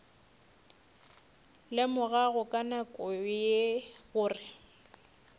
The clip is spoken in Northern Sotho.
lemogago ka nako ye gore